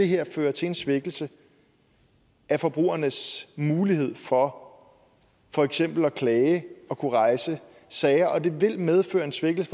her føre til en svækkelse af forbrugernes mulighed for for eksempel at klage og kunne rejse sager og det vil medføre en svækkelse